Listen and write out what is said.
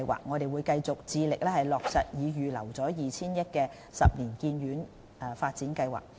我們會繼續致力落實已預留 2,000 億元的十年醫院發展計劃。